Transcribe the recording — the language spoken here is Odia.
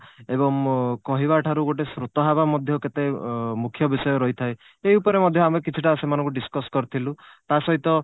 ଏବଂ କହିବା ଠାରୁ ଗୋଟେ ଶ୍ରୋତା ହବା ମଧ୍ୟ କେତେ ମୁଖ୍ୟ ବିଷୟ ରହିଥାଏ ସେଇ ଉପରେ ମଧ୍ୟ ଆମେ କିଛିଟା ସେମାନଙ୍କୁ discuss କରିଥିଲୁ ତା ସହିତ